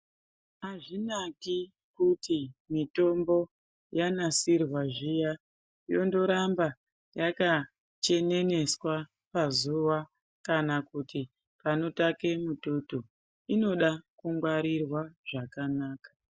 Azvinaki kuti mitombo yanasirwa zviya yondoramba yaka cheneneswa pazuwa kana kuti panotake mututu. Inoda kungwarirwa zvakanaka.